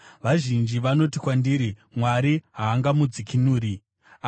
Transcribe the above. Vazhinji vanoti kwandiri, “Mwari haangamudzikinuri.” Sera